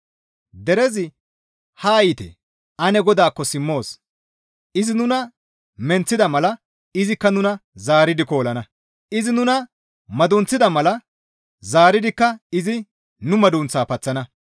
Derezi, «Haa yiite, ane GODAAKKO simmoos! Izi nuna menththida mala izikka nuna zaaridi koolana; izi nuna madunththida mala zaaridikka izi nu madunththaa paththana.